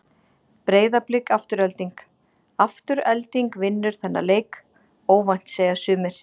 Breiðablik- Afturelding Afturelding vinnur þennan leik óvænt segja sumir.